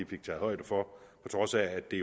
fik taget højde for på trods af at det